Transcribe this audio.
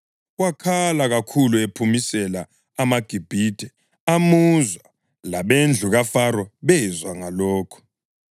Wakhala kakhulu ephumisela amaGibhithe amuzwa, labendlu kaFaro bezwa ngalokho.